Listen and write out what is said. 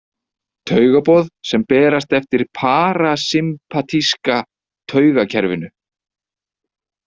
Taugaboð sem berast eftir parasympatíska taugakerfinu.